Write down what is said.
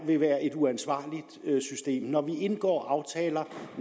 vil være et uansvarligt system når vi indgår aftaler